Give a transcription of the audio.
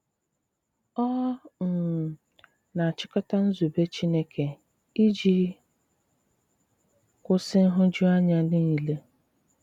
Ọ um na-àchikota nzùbè Chìnékè iji kwụsị nhụjuanya niile.